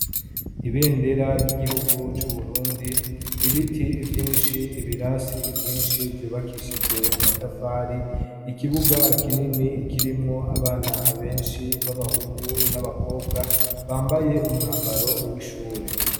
Ibendera ry'igihugu c'Uburundi , ibiti vyinshi, ibirasi vyinshi vyubakishijwe amatafari, ikibuga kinini kirimwo abana benshi b'abahungu n'abakobwa bambaye umwambaro w'ishure.